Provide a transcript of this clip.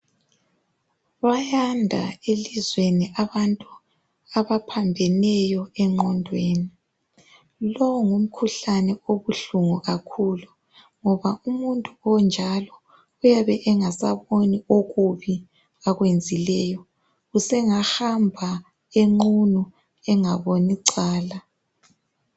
bayanda elizweni abantu abaphambheneyo enqodweni lowo ngumkhuhlne obuhlungu kakhulu ngoba umuntu onjalo uyabe engasaboni okubi akuyenzileyo usengahamba enqunu engabonicala